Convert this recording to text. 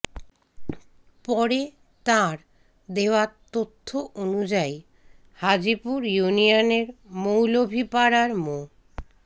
পরে তাঁর দেওয়া তথ্য অনুযায়ী হাজীপুর ইউনিয়নের মৌলভীপাড়ার মো